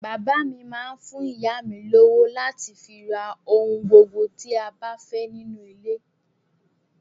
Bàbá mi máá ń fún ìyá mi ní owó láti fi ra ohun gbogbo tí a bá fẹ́ nínú ilé